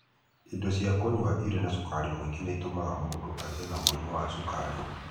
ĩndo cĩa kũnyua irĩ na cukari mũingĩ nĩ itũmaga mũndũ agĩe na mũrimũ wa cukari.